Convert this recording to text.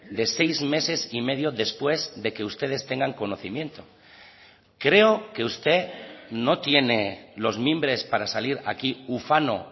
de seis meses y medio después de que ustedes tengan conocimiento creo que usted no tiene los mimbres para salir aquí ufano